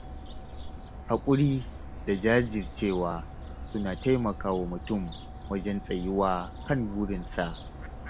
Haƙuri da jajircewa suna taimakawa mutum wajen tsayuwa kan burinsa.